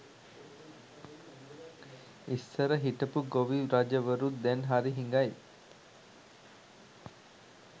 ඉස්සර හිටපු ගොවි රජවරුත් දැන් හරි හිඟයි